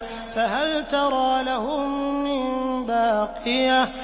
فَهَلْ تَرَىٰ لَهُم مِّن بَاقِيَةٍ